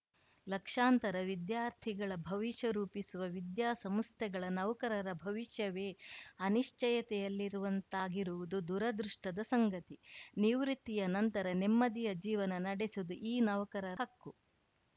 ಲಕ್ಷಾಂತರ ವಿದ್ಯಾರ್ಥಿಗಳ ಭವಿಷ್ಯ ರೂಪಿಸುವ ವಿದ್ಯಾಸಂಸ್ಥೆಗಳ ನೌಕರರ ಭವಿಷ್ಯವೇ ಅನಿಶ್ಚಯತೆಯಲ್ಲಿರುವಂತಾಗಿರುವುದು ದುರದೃಷ್ಟದ ಸಂಗತಿ ನಿವೃತ್ತಿಯ ನಂತರ ನೆಮ್ಮದಿಯ ಜೀವನ ನಡೆಸುವುದು ಈ ನೌಕರರ ಹಕ್ಕು